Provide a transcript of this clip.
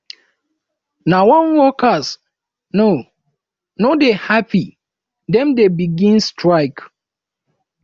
na wen workers no no dey hapi dem dey begin strike